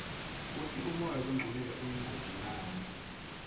kutsi umoya longcolile uyingoti ngani